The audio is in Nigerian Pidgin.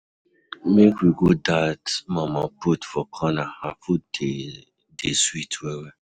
Make we go dat mama put for corner, her food dey dey sweet well-well.